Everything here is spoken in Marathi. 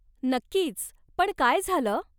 नक्कीच, पण काय झालं?